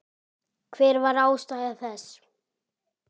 Hver var ástæða þess?